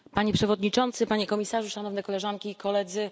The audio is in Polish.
Panie Przewodniczący, Panie Komisarzu, Szanowni Koleżanki i Koledzy!